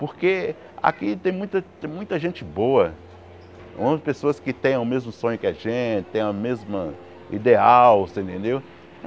Porque aqui tem muita tem muita gente boa, pessoas que tem o mesmo sonho que a gente, tem o mesmo ideal, você entendeu?